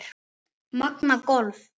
Magnað golf.